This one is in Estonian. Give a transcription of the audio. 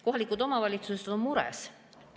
Kohalikud omavalitsused on mures.